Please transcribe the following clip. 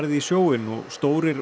í sjóinn og stórir